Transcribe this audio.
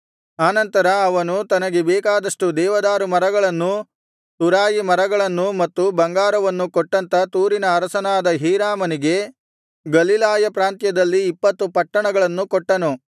ಆನಂತರ ಅವನು ತನಗೆ ಬೇಕಾದಷ್ಟು ದೇವದಾರುಮರಗಳನ್ನೂ ತುರಾಯಿಮರಗಳನ್ನೂ ಮತ್ತು ಬಂಗಾರವನ್ನೂ ಕೊಟ್ಟಂಥ ತೂರಿನ ಅರಸನಾದ ಹೀರಾಮನಿಗೆ ಗಲಿಲಾಯ ಪ್ರಾಂತ್ಯದಲ್ಲಿ ಇಪ್ಪತ್ತು ಪಟ್ಟಣಗಳನ್ನು ಕೊಟ್ಟನು